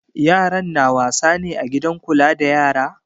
Yaran na wasa ne a gidan kula da yara?